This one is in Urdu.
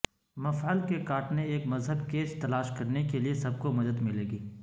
مفعل کے کاٹنے ایک مہذب کیچ تلاش کرنے کے لئے سب کو مدد ملے گی